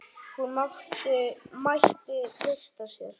Hún mætti treysta sér.